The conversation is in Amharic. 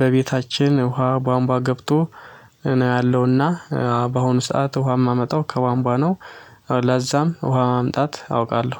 በቤታችን ውሃ ቧንቧ ገብቶ ነው ያለውና በአሁኑ ሰዓት ውሃ የማመጣው ከቧንቧ ነው ለዛም ውሃ ማምጣት አውቃለሁ።